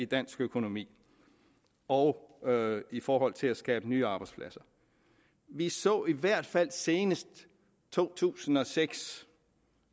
dansk økonomi og i forhold til at skabe nye arbejdspladser vi så i hvert fald senest i to tusind og seks